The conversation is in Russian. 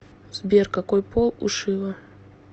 сбер какой пол у шива